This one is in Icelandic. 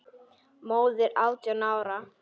Móðir átján ára?